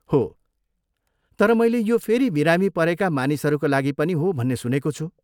हो, तर मैले यो फेरि बिरामी परेका मानिसहरूका लागि पनि हो भन्ने सुनेको छु।